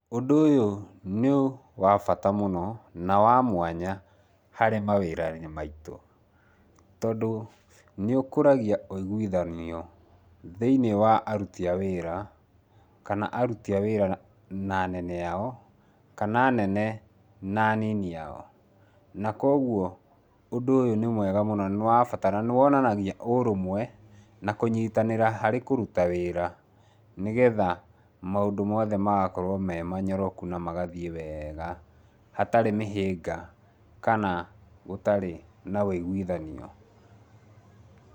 Ũndũ ũyũ nĩwabata mũno na wamwanya harĩ mawĩra-inĩ maitũ. Tondũ nĩũkũragia wĩiguithanio thĩiniĩ wa aruti a wĩra, kana aruti a wĩra na anene ao, kana anene na anini ao. Nakwogwo nĩmwega mũno na nĩwabata na nĩ wonanagia ũrũmwe na kũnyitanĩra harĩ kũruta wĩra, nĩgetha mũndũ mothe magakorow me manyoroku na magathiĩ wega hatarĩ mĩhĩanga kana hatarĩ na wĩiguithanio.